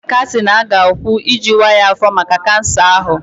Ego ole ka a sị na a ga-akwụ iji waa ya afọ maka kansa ahụ?